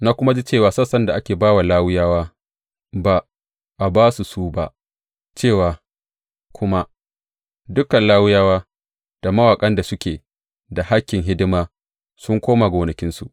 Na kuma ji cewa sassan da ake ba wa Lawiyawa ba a ba su ba, cewa kuma dukan Lawiyawa da mawaƙan da suke da hakkin hidima sun koma gonakinsu.